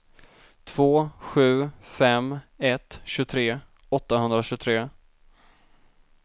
två sju fem ett tjugotre åttahundratjugotre